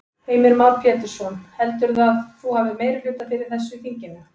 Heimir Már Pétursson: Heldurðu að þú hafi meirihluta fyrir þessu í þinginu?